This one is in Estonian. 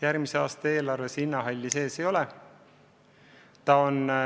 Järgmise aasta eelarves linnahalli sees ei ole.